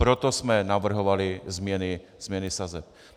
Proto jsme navrhovali změny sazeb.